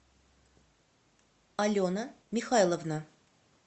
алена михайловна